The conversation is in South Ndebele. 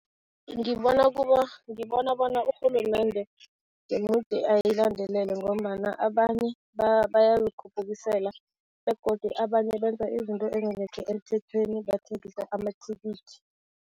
Ngibona ngibona bona urhulumende jemudi ayilandelele ngombana abanye bayazikhuphukisela begodu abanye benza izinto ezingekho emthethweni, bathengisa amathikithi.